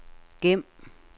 gem